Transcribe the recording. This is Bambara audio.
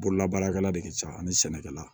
Bololabaarakɛla de ka ca ani sɛnɛkɛla